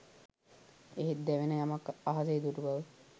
එහෙත් දැවෙන යමක් අහසේ දුටු බව